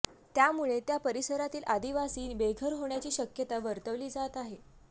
त्यामुळे त्या परिसरातील अदिवासी बेघर होण्याची शक्यता वर्तवली जात आहे